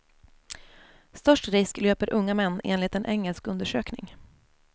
Störst risk löper unga män enligt en engelsk undersökning.